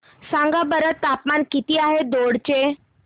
सांगा बरं तापमान किती आहे दौंड चे